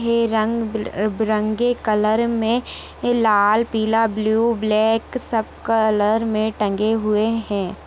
ये रंग बिरंगे कलर में लाल पीला ब्लू ब्लैक सब कलर में टंगे हुए हैं।